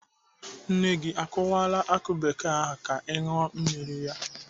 Nne gị o kụwala akụ bekee ahụ ka ị ṅụọ mmiri ya?